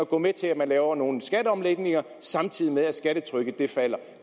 går med til at lave nogen skatteomlægninger samtidig med at skattetrykket falder